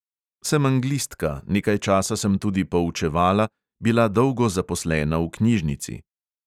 Sem anglistka, nekaj časa sem tudi poučevala, bila dolgo zaposlena v knjižnici.